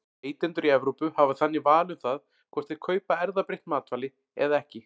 Neytendur í Evrópu hafa þannig val um það hvort þeir kaupa erfðabreytt matvæli eða ekki.